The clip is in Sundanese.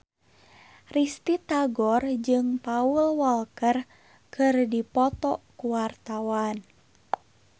Risty Tagor jeung Paul Walker keur dipoto ku wartawan